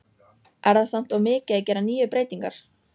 Er það samt of mikið að gera níu breytingar?